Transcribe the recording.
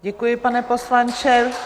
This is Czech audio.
Děkuji, pane poslanče.